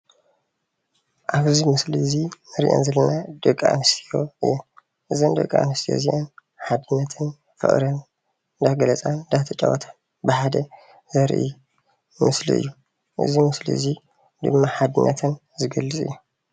ኣብዚ ምስሊ እዚ እንሪአን ዘለና ደቂ ኣነስትዮ እየን፡፡ እዘን ደቂ ኣነስትዮ እዚአን ሓድነተን ፍቅረን እንዳገለፃ እንዳተጫወታ ብሓደ ዘርኢ ምስሊ እዩ፡፡ እዚ ምስሊ እዚ ድማ ሓድነተን ዝገልፅ እዩ፡፡